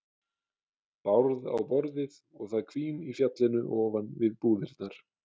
Bárð á borðið og það hvín í fjallinu ofan við búðirnar.